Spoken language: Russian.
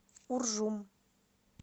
уржум